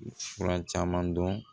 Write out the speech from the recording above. Fura caman dɔn